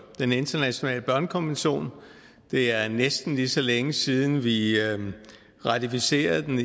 den internationale børnekonvention det er næsten lige så længe siden vi ratificerede den